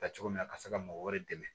Ta cogo min na a ka se ka mɔgɔ wɛrɛ dɛmɛ